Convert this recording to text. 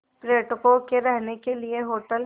पर्यटकों के रहने के लिए होटल